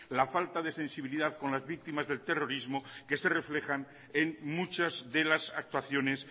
la falta de sensibilidad con las víctimas del terrorismo que se reflejan en muchas de las actuaciones